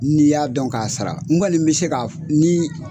N'i y'a dɔn k'a sara n kɔni n bɛ se ka ni